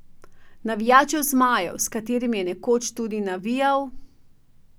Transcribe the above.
Navijačev zmajev, s katerimi je nekoč tudi navijal ...